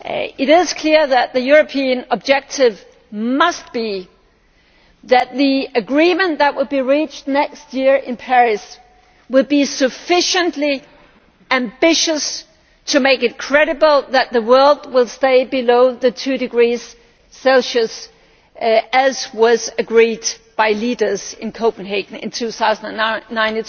It is clear that the European objective must be that the agreement reached next year in Paris must be sufficiently ambitious to make it credible that the world will stay below the two degrees Celsius threshold, as was agreed by leaders in Copenhagen in 2009.